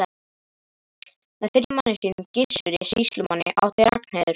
Með fyrri manni sínum, Gissuri sýslumanni, átti Ragnheiður